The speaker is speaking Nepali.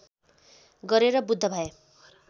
गरेर बुद्ध भए